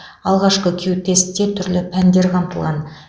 алғашқы кю тестте түрлі пәндер қамтылған